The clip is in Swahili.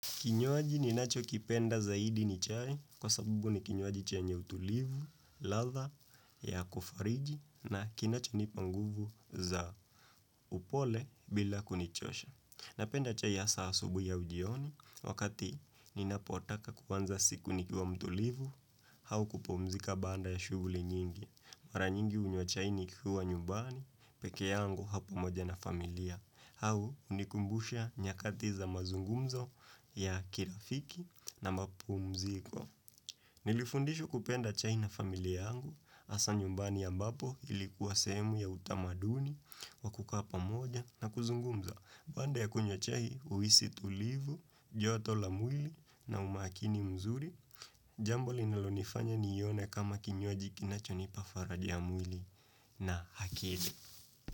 Kinywaji ninachokipenda zaidi ni chai, kwa sabubu ni kinywaji chenye utulivu, ladha, ya kufariji, na kinacho nipa nguvu za upole bila kunichosha. Napenda chai hasa asubui au ujioni, wakati ninapotaka kuanza siku nikiwa mtulivu, au kupumzika baada ya shughuli nyingi. Mara nyingi hunywa chai nikiwa nyumbani pekee yangu au pamoja na familia au hunikumbusha nyakati za mazungumzo ya kirafiki na mapumziko Nilifundishwa kupenda chai na familia yangu hasa nyumbani ya mbapo ilikuwa semu ya utamaduni Wakukapa moja na kuzungumza Bande ya kunyo chai uisi tulivu, joto lamuli na umakini mzuri Jambo linalonifanya ni yone kama kinywaji kinachonipa faraji ya mwili na akili.